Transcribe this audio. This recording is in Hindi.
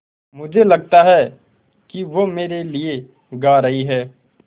मुझे लगता है कि वो मेरे लिये गा रहीं हैँ